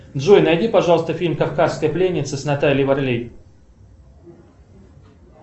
джой найди пожалуйста фильм кавказская пленница с натальей варлей